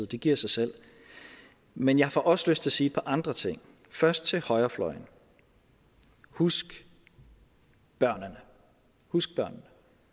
det giver sig selv men jeg får også lyst til at sige et par andre ting først til højrefløjen husk børnene husk børnene